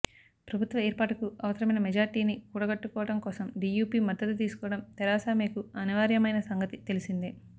ప్రభుత్వ ఏర్పాటుకు అవసరమై మెజార్టీని కూడగట్టుకోవడం కోసం డీయూపీ మద్దతు తీసుకోవడం థెరెసా మేకు అనివార్యమైన సంగతి తెలిసిందే